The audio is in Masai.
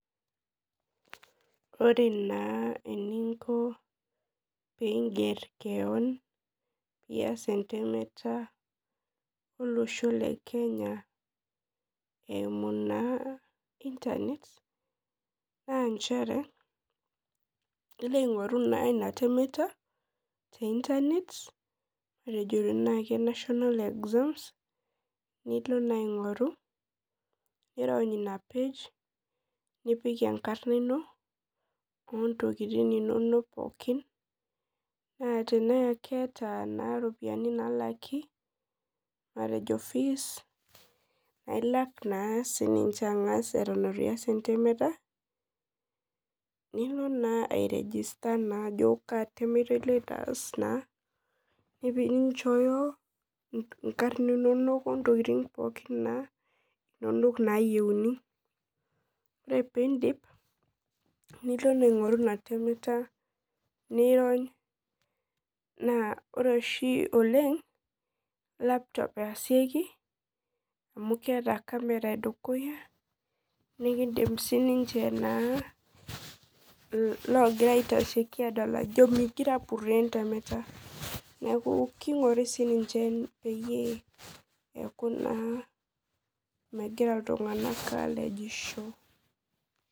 Ore na eninko peinger keon pias entemata olosho le kenya eimu internet na ilo aingoru inatemata te internet nilo na aingoru nirony inapage nipik enkarna ino ontokitin inonok pookin na teneeta ntokitin nalaki matejo fees nailak na sininche atan itu lak entemata ninchooyo nkarb inono ontokitin inonol nayieuni ore pindio nilo aingoru inatemera na ore oshi oleng na lapton easieki amu keeta camera edukuya amu pikidol lagira aitashieki ajo migira apuroo entemata kinguri sii peyie neaku megira ltunganak alejisho.